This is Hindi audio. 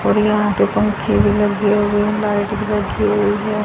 और यहां पे पंखे भी लगे हुए हैं लाइट भी रखी हुई हैं।